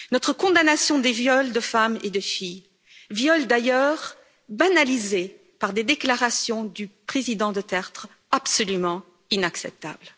notre condamnation des viols de femmes et de filles, viols d'ailleurs banalisés par des déclarations du président Duterte, absolument inacceptables.